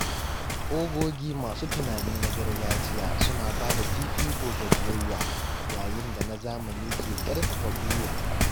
Ogogi masu tunani na gargajiya suna bada fifiko ga biyayya, yayin da na zamani ke ƙarfafa haɗin gwiwa.